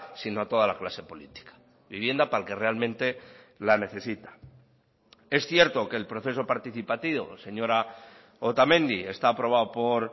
sino a toda la clase política vivienda para el que realmente la necesita es cierto que el proceso participativo señora otamendi está aprobado por